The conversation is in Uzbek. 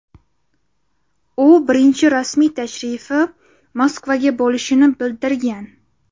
U birinchi rasmiy tashrifi Moskvaga bo‘lishini bildirgan.